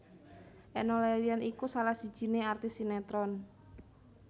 Enno Lerian iku salah sijine artis sinetron